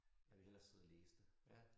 Jeg vil hellere side og læse det